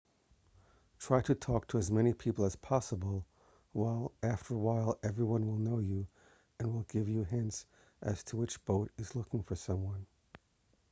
try to talk to as many people as possible after a while everyone will know you and will give you hints as to which boat is looking for someone